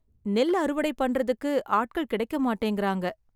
நெல் அறுவடை பண்றதுக்கு ஆட்கள் கிடைக்க மாட்டேங்குறாங்க..